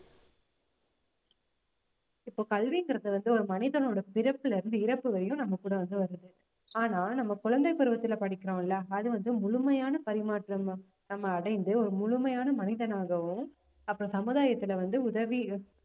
இப்போ கல்விங்கிறது வந்து ஒரு மனிதனோட பிறப்புல இருந்து இறப்பு வரையும் நம்ம கூட வந்து வருது ஆனா நம்ம குழந்தைப் பருவத்திலே படிக்கிறோம்ல அது வந்து முழுமையான பரிமாற்றம் நம்~ நம்ம அடைந்து ஒரு முழுமையான மனிதனாகவும் அப்போ சமுதாயத்திலே வந்து